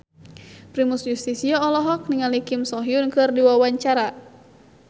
Primus Yustisio olohok ningali Kim So Hyun keur diwawancara